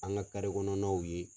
An ka kɔnɔnaw ye.